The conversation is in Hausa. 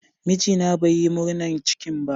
Mijina bai Yi murnan cikin ba.